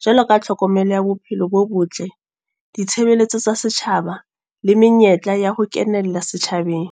Jwaloka tlhokomelo ya bophelo bo botle, ditshebeletso tsa setjhaba. Le menyetla ya ho kenella setjhabeng.